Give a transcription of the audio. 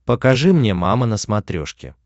покажи мне мама на смотрешке